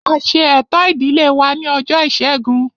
A ṣe ẹ̀tọ́ ìdílé wa ní ọjọ́ ìṣẹ́gun